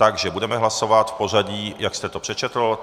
Takže budeme hlasovat v pořadí, jak jste to přečetl.